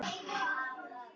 Jóru saga